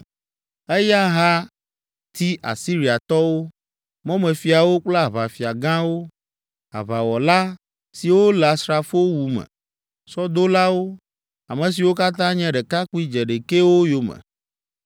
Eya hã ti Asiriatɔwo, mɔmefiawo kple aʋafia gãwo, aʋawɔla, siwo le asrafowu me, sɔdolawo; ame siwo katã nye ɖekakpui dzeɖekɛwo yome.